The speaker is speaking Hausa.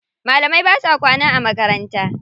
Malamai ba sa kwana a makaranta.